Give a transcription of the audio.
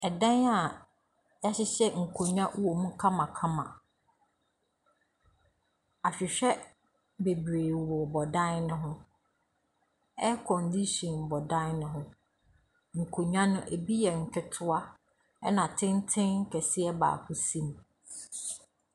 Ɛdan a wɔahyehyɛ nkonnwa wom kamakama. Ahwehwɛ bebree bobɔ dan no ho. Aircondition bɔ dan no ho. Nkonnwa no, ebi yɛ nketewa, ɛnna tenten kɛseɛ baako si mu.